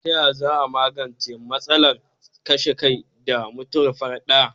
Taya za a magance matsalar kashe kai da mutuwar farat daya?